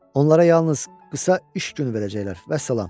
Onlara yalnız qısa iş günü verəcəklər, vəssalam.